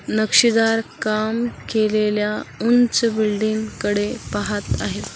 नक्षीदार काम केलेल्या उंच बिल्डिंग कडे पाहत आहेत.